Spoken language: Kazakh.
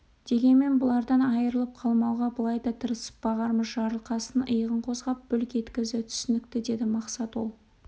дегенмен бұлардан айырылып қалмауға былай да тырысып бағармыз жарылқасын иығын қозғап бүлк еткізді түсінікті деді мақсат ол